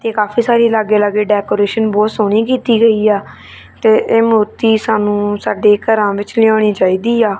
ਇਹ ਕਾਫੀ ਸਾਰੀ ਲਾਗੇ ਲਾਗੇ ਡੈਕੋਰੇਸ਼ਨ ਬਹੁਤ ਸੋਹਣੀ ਕੀਤੀ ਗਈ ਆ ਤੇ ਇਹ ਮੂਰਤੀ ਸਾਨੂੰ ਸਾਡੇ ਘਰਾਂ ਵਿੱਚ ਲਿਆਉਣੀ ਚਾਹੀਦੀ ਆ।